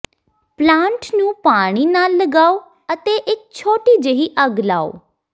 plant ਨੂੰ ਪਾਣੀ ਨਾਲ ਲਗਾਓ ਅਤੇ ਇਕ ਛੋਟੀ ਜਿਹੀ ਅੱਗ ਲਾਓ